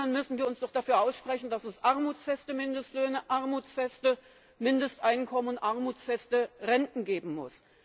Wenn schon, dann müssen wir uns doch dafür aussprechen, dass es armutsfeste Mindestlöhne, armutsfeste Mindesteinkommen, armutsfeste Renten geben muss.